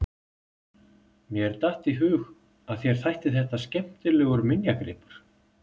Mér datt í hug að þér þætti þetta skemmtilegur minjagripur!